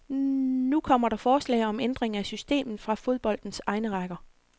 Nu kommer der forslag om ændring af systemet fra fodboldens egne rækker.